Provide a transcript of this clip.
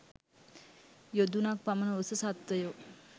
යොදුනක් පමණ උස සත්ත්වයෝ